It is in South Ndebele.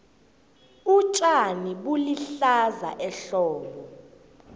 utjani bulihlaza ehlobo